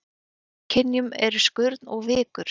Í þremur kynjum eru skurn og vikur.